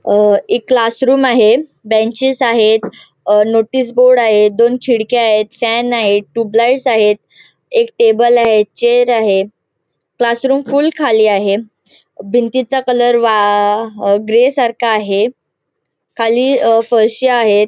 अ एक क्लासरूम आहे बेंचीस आहेत अ नोटीस बोर्ड आहेत दोन खिडक्या आहेत फेन आहेत ट्यूब लाइट्स आहेत. एक टेबल आहे चेअर आहे क्लासरूम फुल खाली आहे. भिंतीचा कलर व्हा ग्रे सारखा आहे खाली अअ फरश्या आहेत.